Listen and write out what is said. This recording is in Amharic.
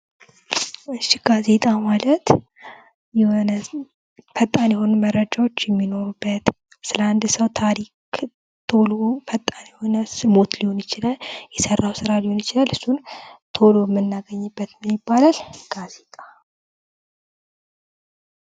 እሺ ጋዜጣ ማለት የሆነ ፈጣን የሆኑ መረጃዎች የሚኖሩበት ፣ስለ አንድ ሰው ታሪክ ቶሎ ፈጣን የሆነ ሲሞት ሊሆን ይችላል፣ የሰራው ስራ ሊሆን ይችላል እሱን ቶሎ የምናገኝበት ምን ይባላል? ጋዜጣ።